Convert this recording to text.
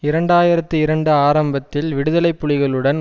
இரண்டு ஆயிரத்தி இரண்டு ஆரம்பத்தில் விடுதலை புலிகளுடன்